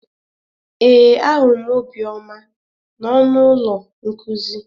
Ee, ahụrụ m Obioma na ọnụ ụlọ nkuzi